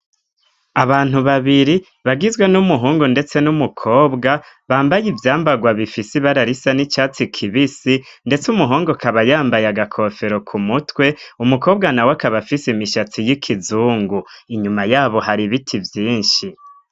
Abantu babiri bagizwe n'umuhungu ndetse n'umukobwa bambaye ivyambagwa bifisi bararisa n'icyatsi kibisi ndetse umuhungu akaba yambaye agakofero ku mutwe umukobwa na we akaba fise imishatsi y'ikizungu inyuma yabo hari ibiti vyinshi.